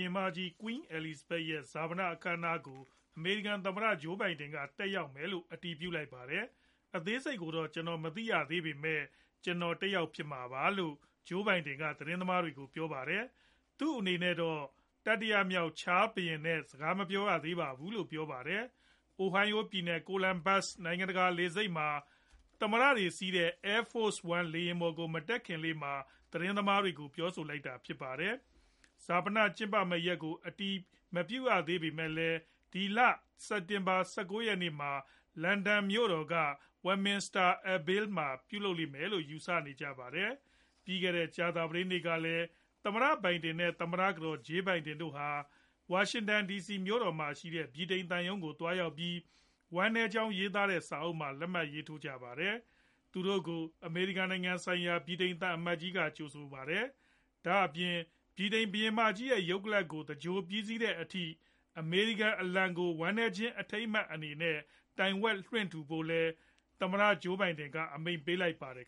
င်မကြီး Queen Elizabeth ရဲ့ ဈာပန အခမ်းအနားကို အမေရိကန် သမ္မတ Joe Biden က တက်ရောက်မယ်လို့ အတည်ပြုလိုက်ပါတယ်။ " အသေးစိတ်ကိုတော့ ကျနော်မသိရသေးပေမယ့် ကျနော် တက်ရောက်မှာ ဖြစ်ပါတယ် " လို့ Joe Biden က သတင်းသမားတွေကို ပြောပါတယ်။ သူအနေနဲ့တော့ တတိယမြောက် Charles III ဘုရင်နဲ့တော့ စကားမပြေားရသေးပါဘူးလို့လည်း ပြောပါတယ်။ Ohio ပြည်နယ် Columbus နိုင်ငံတကာ လေဆိပ်မှာ Air Force One လေယာဉ်ပေါ်ကို မတက်ခင်လေးမှာ သတင်းသမားတွေကို ပြောဆိုလိုက်တာဖြစ်ပါတယ်။ ဈာပန ကျင်းပမဲ့ ရက်ကို အတိအကျ အတည်မပြုရသေးပေမဲ့လည်း ဒီလ စက်တင်ဘာ ၁၉ ရက်နေ့မှာ London မြို့တော်က Westminster Abbey မှာ ပြုလုပ်လိမ့်မယ်လို့ ယူဆနေကြပါတယ်။ ပြီးခဲ့တဲ့ ကြာသပတေးနေ့ကလည်း သမ္မတ Biden နဲ့ သမ္မတကတော် Jill Biden တို့ဟာ ဝါရှင်တန်ဒီစီမြို့တော်မှာရှိတဲ့ ဗြိတိန် သံရုံးကို သွားရောက်ပြီး ဝမ်းနည်းကြောင်း ရေးသားတဲ့ စာအုပ်မှာ လက်မှတ်ရေးထိုးခဲ့ပါတယ်။ သူတို့ကို အမေရိကန် နိုင်ငံဆိုင်ရာ ဗြိတိန်သံအမတ်ကြီး က ကြိုဆိုပါတယ်။ ဒါအပြင် ဗြိတိန်ဘုရင်မကြီး ရုပ်ကလပ် ကို သဂြိုလ်ပြီးတဲ့အထိ အမေရိကန် အလံကို ဝမ်းနည်းခြင်းအထိမ်းအမှတ်အနေနဲ့ တိုင်ဝက်လွှင့်ထူကြဖို့လည်း သမ္မတ Joe Biden က အမိန့်ပေးလိုက်ပါတယ်